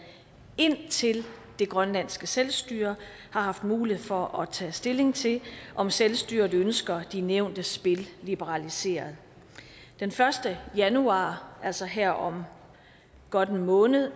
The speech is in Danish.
indtil det grønlandske selvstyre har haft mulighed for at tage stilling til om selvstyret ønsker de nævnte spil liberaliseret den første januar altså her om godt en måned